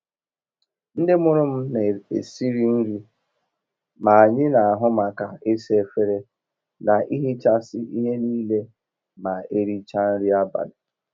Ndị mụrụ m na esiri nri, ma anyị n'ahu maka isa efere, na ihichasị ihe niile ma erichaa nri abalị.